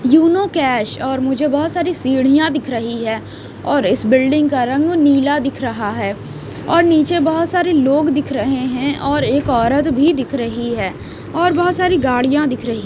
Uno cash और मुझे बहुत सारी सीढ़ियां दिख रही है और इस बिल्डिंग का रंग नीला दिख रहा है और नीचे बहुत सारे लोग दिख रहे हैं और एक औरत भी दिख रही है और बहुत सारी गाड़ियां दिख रही --